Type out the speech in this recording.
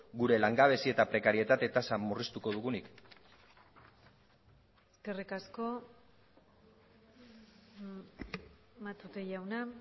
gure langabezi eta prekarietate tasa murriztuko dugunik eskerrik asko matute jauna